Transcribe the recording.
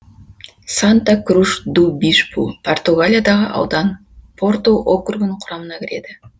санта круш ду бишпу португалиядағы аудан порту округінің құрамына кіреді